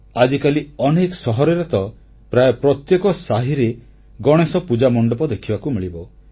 ଆଜିକାଲି ଅନେକ ସହରରେ ତ ପ୍ରାୟ ପ୍ରତ୍ୟେକ ସାହିରେ ଗଣେଶ ପୂଜା ମଣ୍ଡପ ଦେଖିବାକୁ ମିଳିବ